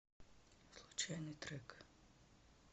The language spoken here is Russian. случайный трек